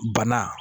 Bana